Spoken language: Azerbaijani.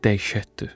Dəhşətdir.